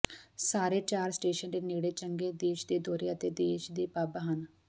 ਸਾਰੇ ਚਾਰ ਸਟੇਸ਼ਨ ਦੇ ਨੇੜੇ ਚੰਗੇ ਦੇਸ਼ ਦੇ ਦੌਰੇ ਅਤੇ ਦੇਸ਼ ਦੇ ਪਬ ਹਨ